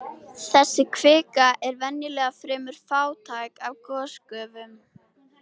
Þessi kvika er venjulega fremur fátæk af gosgufum.